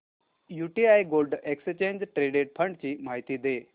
UTI gold exchange traded fund ची माहिती दे